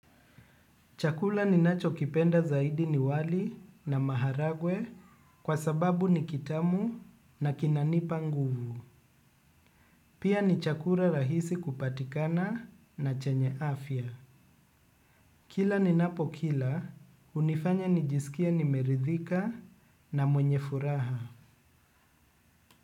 Chakula ni nacho kipenda zaidi ni wali na maharagwe kwa sababu ni kitamu na kinanipa nguvu. Pia ni chakula rahisi kupatikana na chenye afya. Kila ni napo kila, hunifanya nijisikie nimeridhika na mwenye furaha.